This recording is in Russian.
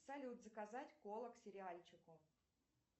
салют заказать колу к сериальчику